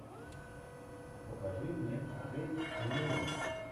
покажи мне отель элеон